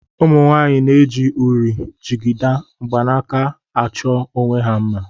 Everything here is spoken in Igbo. Ụmụnwaanyị na-eji uri, jigida, mgbanaka achọ onwe ha mma